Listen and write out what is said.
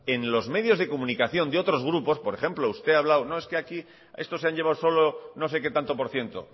en los medios de comunicación de otros grupos por ejemplo usted ha hablarlo de no es que aquí estos se han llevado solo no sé qué tanto por ciento